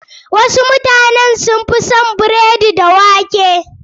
Wasu mutanen sun fi son biredi da wake.